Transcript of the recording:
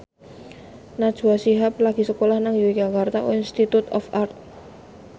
Najwa Shihab lagi sekolah nang Yogyakarta Institute of Art